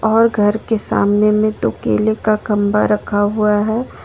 और घर के सामने में तो केले का खंभा रखा हुआ है।